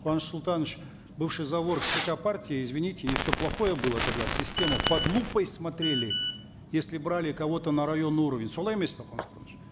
куаныш султанович бывший зав орг цк партии извините не все плохое было тогда система под лупой смотрели если брали кого то на районный уровень солай емес пе куаныш султанович